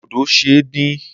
Dodo ṣe é dín.